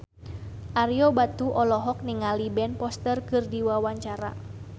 Ario Batu olohok ningali Ben Foster keur diwawancara